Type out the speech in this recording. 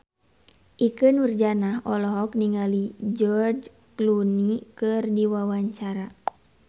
Ikke Nurjanah olohok ningali George Clooney keur diwawancara